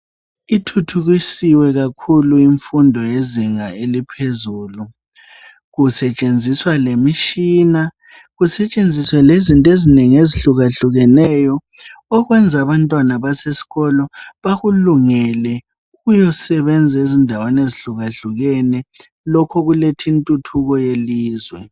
Ithuthukisiwe kakhulu imfundo yezinga eliphezulu kusetshenziswa lemitshina kusetshenziswe lezinto ezinengi ezehlukeneyo ukwenza abantwana abasesikolo bakulungele ukuyasebenza ezindaweni ezihlukahlukene lokhu kuletha intuthuko yelizwe.